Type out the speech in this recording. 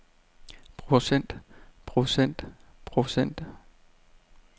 procent procent procent